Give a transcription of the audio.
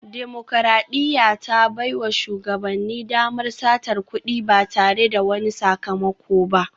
Dimokuradiyya ta baiwa shugabanni damar satar kudi ba tare da wani sakamako ba